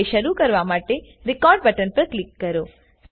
હવે શરુ કરવા માટે Recordબટન પર ક્લિક કરો